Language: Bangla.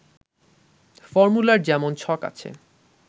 ফর্মুলার যেমন ছক আছে